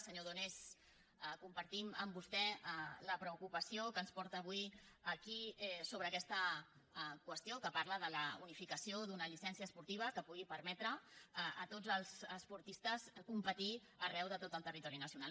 senyor donés com·partim amb vostè la preocupació que ens porta avui aquí sobre aquesta qüestió que parla de la unificació d’una llicència esportiva que pugui permetre a tots els esportistes competir arreu de tot el territori nacional